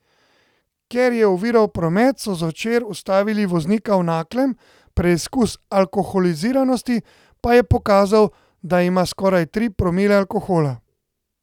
Ker je oviral promet, so zvečer ustavili voznika v Naklem, preizkus alkoholiziranosti pa je pokazal, da ima skoraj tri promile alkohola.